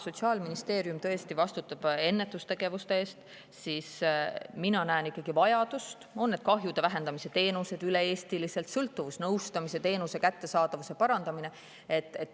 Sotsiaalministeerium vastutab ennetustegevuste eest, aga mina näen ikkagi vajadust parandada kahjude vähendamise teenuseid üle-eestiliselt ja sõltuvusnõustamise teenuse kättesaadavust.